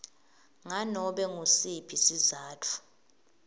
nganobe ngusiphi sizatfu